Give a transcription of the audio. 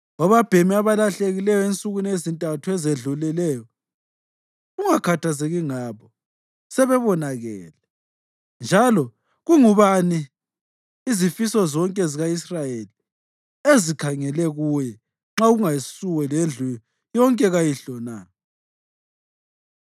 Obabhemi abalahlekileyo ensukwini ezintathu ezedluleyo, ungakhathazeki ngabo; sebebonakele. Njalo kungubani izifiso zonke zika-Israyeli ezikhangele kuye nxa kungasuwe lendlu yonke kayihlo na?”